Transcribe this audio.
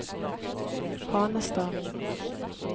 Hanestad